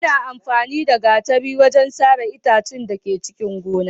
Ana amfani da gatari ne wajen sare itatuwa a cikin gona.